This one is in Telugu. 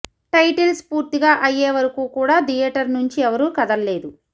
టైటిల్స్ పూర్తిగా అయ్యే వరకు కూడా థియేటర్ నుంచి ఎవరూ కదల్లేదు